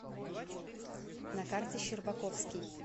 на карте щербаковский